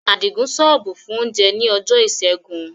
Adigun ṣọ́ọ̀bù fún oúnjẹ ní ọjọ́ Ìṣẹ́gun.